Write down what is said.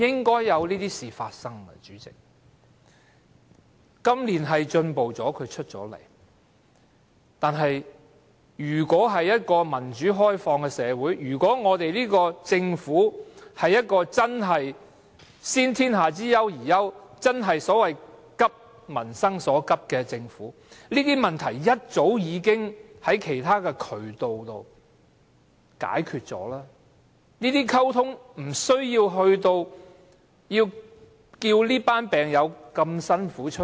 今年特首出來接見確是進步了，但如果我們是一個民主開放社會，如果這個政府真的是"先天下之憂而憂"、真的"急民生所急"，這些問題早應循其他渠道溝通、解決了，無須待這群病友辛苦的站出來。